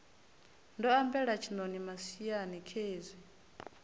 ndo ambela tshiṋoni matswiani khezwi